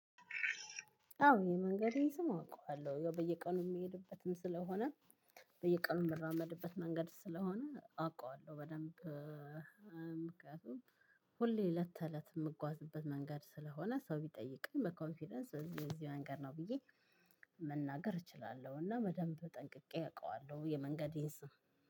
አዎ የመንገዴን ስም አውቀዋለሁ ያው በየቀኑ የምሄድበትም ስለሆነ በየቀኑ የምራመድበት መንገድ ስለሆነ አውቃለሁ በደንብ። ምክንያቱም ሁሌ ለተለት የምጓዝበት መንገድ ስለሆነ ሰው ቢጠይቀኝ በኮንፊደንስ እዚህ እዚህ መንገድ ነው ብዬ መናገር እችላለሁ። እና በደንብ ጠንቅቄ አውቀዋለሁ የመንገዴን ስም።